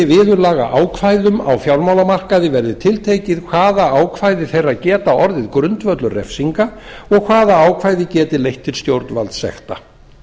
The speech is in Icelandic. viðurlagaákvæðum á fjármálamarkaði verði tiltekið hvaða ákvæði þeirra geta orðið grundvöllur refsinga og hvaða ákvæði geti leitt til stjórnvaldssekta